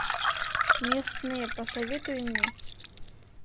местные посоветуй мне